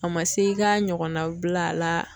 A ma se i ka ɲɔgɔn nabila a la.